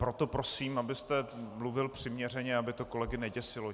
Proto prosím, abyste mluvil přiměřeně, aby to kolegy neděsilo.